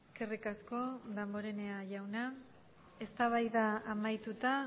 eskerrik asko damborenea jauna eztabaida amaituta